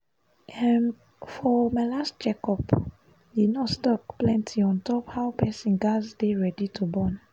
um for my last check up the nurse talk plenty on top how person gaz de ready to born